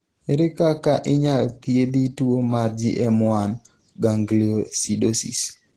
ere kaka inyal thiedhi tuo mar GM1 gangliosidosis